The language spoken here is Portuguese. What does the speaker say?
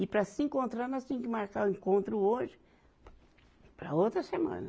E para se encontrar, nós tinha que marcar o encontro hoje para a outra semana.